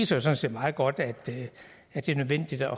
sådan set meget godt at det er nødvendigt at